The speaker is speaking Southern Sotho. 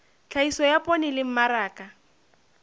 tlhahiso ya poone le mmaraka